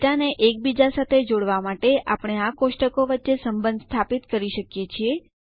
ડેટાને એકબીજા સાથે જોડવા માટે આપણે આ કોષ્ટકો વચ્ચે સંબંધ સ્થાપિત કરી શકીએ છીએ